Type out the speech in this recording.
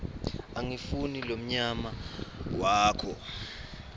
angifuni mlonyana wakho